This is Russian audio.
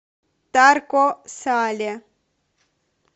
тарко сале